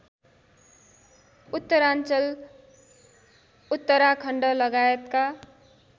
उत्तराञ्चल उत्तराखण्ड लगायतका